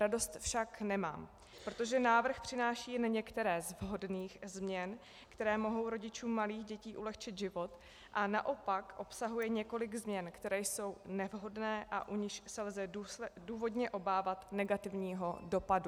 Radost však nemám, protože návrh přináší jen některé z vhodných změn, které mohou rodičům malých dětí ulehčit život, a naopak obsahuje několik změn, které jsou nevhodné a u nichž se lze důvodně obávat negativního dopadu.